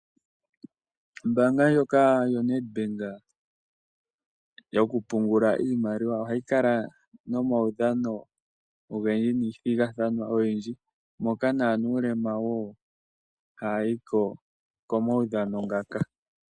Ombaabga ndjoka yoNedBank yokupungula iimaliwa ohayi kala nomaudhano ogendji noomathigathano ogendji moka na nuulema wo haya yiko komaudhano ngaka.